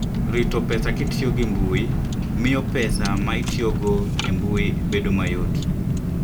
Rito pesa kitiyo gi Intanet: Miyo pesa ma itiyogo e intanet obed mayot.